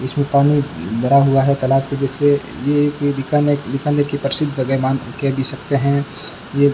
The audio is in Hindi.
इसमें पानी भरा हुआ है तालाब के जैसे ये कोई बीकाने बीकानेर की प्रसिद्ध जगह है कह भी सकते हैं ये --